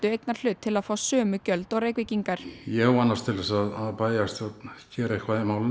eignarhlut til að fá sömu gjöld og Reykvíkingar ég vonast til þess að bæjarstjórn geri eitthvað í málinu